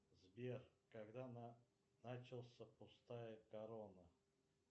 сбер когда начался пустая корона